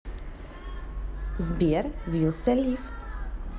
сбер вилса лив